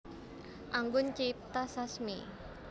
Anggun Cipta Sasmi